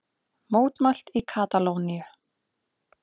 Mótmælt í Katalóníu